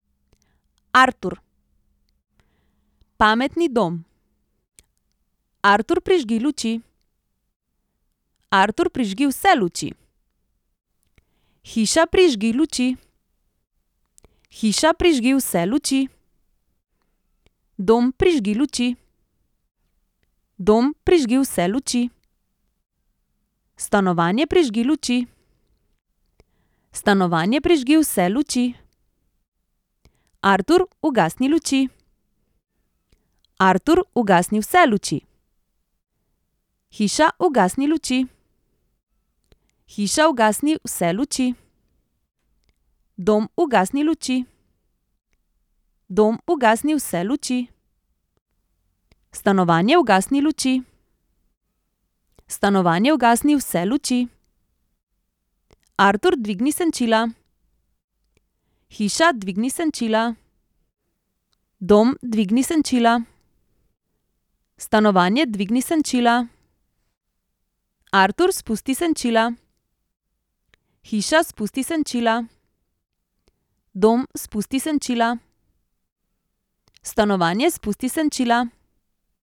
Artur. Pametni dom. Artur, prižgi luči. Artur, prižgi vse luči. Hiša, prižgi luči. Hiša, prižgi vse luči. Dom, prižgi luči. Dom, prižgi vse luči. Stanovanje, prižgi luči. Stanovanje, prižgi vse luči. Artur, ugasni luči. Artur, ugasni vse luči. Hiša, ugasni luči. Hiša, ugasni vse luči. Dom, ugasni luči. Dom, ugasni vse luči. Stanovanje, ugasni luči. Stanovanje, ugasni vse luči. Artur, dvigni senčila. Hiša, dvigni senčila. Dom, dvigni senčila. Stanovanje, dvigni senčila. Artur, spusti senčila. Hiša, spusti senčila. Dom, spusti senčila. Stanovanje, spusti senčila.